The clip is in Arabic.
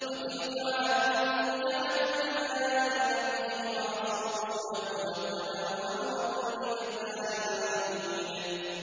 وَتِلْكَ عَادٌ ۖ جَحَدُوا بِآيَاتِ رَبِّهِمْ وَعَصَوْا رُسُلَهُ وَاتَّبَعُوا أَمْرَ كُلِّ جَبَّارٍ عَنِيدٍ